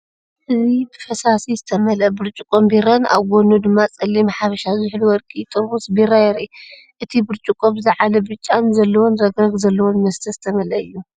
እዚ ብፈሳሲ ዝተመልአ ብርጭቆ ቢራን ኣብ ጎድኑ ድማ ጸሊም “ሓበሻ ዝሑል ወርቂ” ጥርሙዝ ቢራ የርኢ። እቲ ብርጭቆ ብዝለዓለ ብጫ ዘለዎን ረግረግ ዘለዎን መስተ ዝተመልአ እዩ።